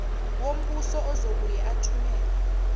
wombuso ozobuye athumele